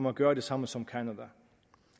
at gøre det samme som canada